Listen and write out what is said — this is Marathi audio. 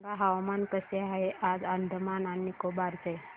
सांगा हवामान कसे आहे आज अंदमान आणि निकोबार चे